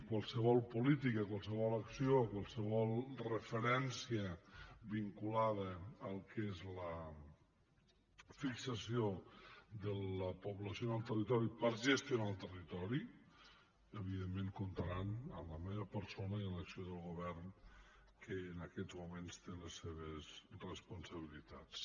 qualsevol política qualsevol acció qualsevol referència vinculada al que és la fixació de la població en el territori per gestionar el territori evidentment comptarà amb la meva persona i amb l’acció del govern que en aquests moments té les seves responsabilitats